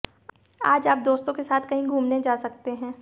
आज आप दोस्तों के साथ कहीं घूमने जा सकते हैं